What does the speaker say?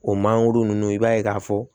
O mangoro ninnu i b'a ye k'a fɔ